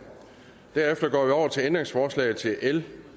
derefter går vi over til ændringsforslagene til l